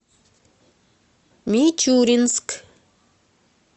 мичуринск